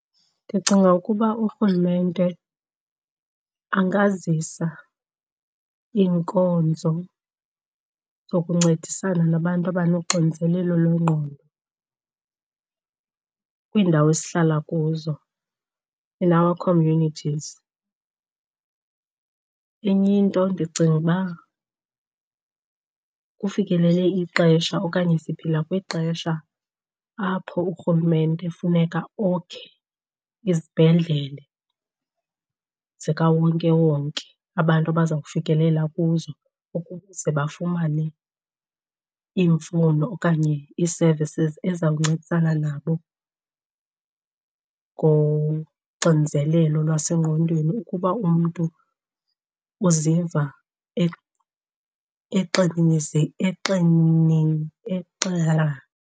Ndicinga ukuba urhulumente angazisa iinkonzo zokuncedisana nabantu abanoxinzelelo lwengqondo kwiindawo esihlala kuzo in our communities. Enye into ndicinga uba kufikelele ixesha okanye siphila kwixesha apho urhulumente funeka okhe izibhedlele zikawonkewonke abantu abaza kufikelela kuzo ukuze bafumane iimfuno okanye ii-services ezizawuncedisana nabo ngoxinizelelo lwasengqondweni ukuba umntu uziva .